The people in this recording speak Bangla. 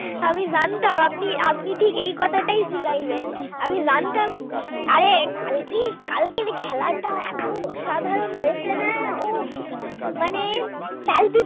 আমি জানতাম আপনি ঠিক এই কথাটাই জাগাইবেন, আমি জানতাম আরে আরে কালকে কালকের এই খেলাটা এত অসাধারণ হয়েছে না, উহ মানে কাল